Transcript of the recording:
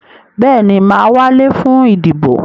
Bẹ́ẹ̀ni, mà á wálé fún ìdìbò.